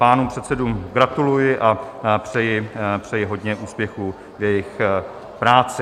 Pánům předsedům gratuluji a přeji hodně úspěchů v jejich práci.